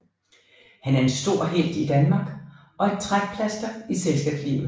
Han er en stor helt i Danmark og et trækplaster i selskabslivet